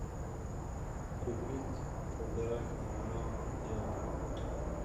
купить полтора килограмма яблок